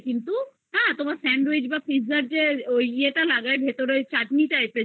কিন্তু হ্যা তোমার sandwich বা pizza তে ওই এইটা লাগায়ে ভিতরে চাটনি